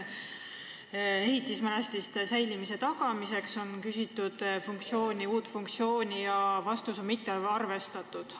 Ehitismälestiste säilimise tagamiseks on palutud fondi raha uue funktsiooni heakskiitmist ja vastus on: "Mittearvestatud.